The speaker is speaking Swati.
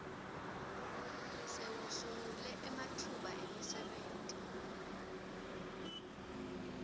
sewusungule ematfuba emisebenti